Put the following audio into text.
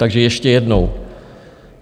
Takže ještě jednou.